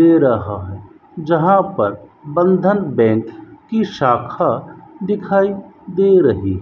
दे रहा है जहां पर बंधन बैंक की शाखा दिखाई दे रही --